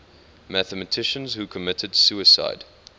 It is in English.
mathematicians who committed suicide